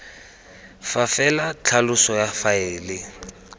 fa fela tlhaloso ya faele